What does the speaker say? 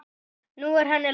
Nú er henni lokið.